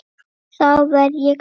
Þá verð ég glaður.